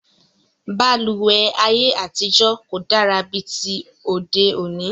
Balùwẹ́ ayé àtijọ́ kò dára bí ti òde òní